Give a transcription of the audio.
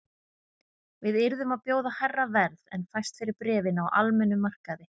Við yrðum að bjóða hærra verð en fæst fyrir bréfin á almennum markaði